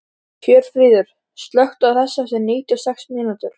Hjörfríður, slökktu á þessu eftir níutíu og sex mínútur.